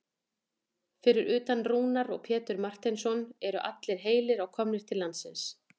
Fyrir utan Rúnar og Pétur Marteinsson eru allir heilir og komnir til landsins?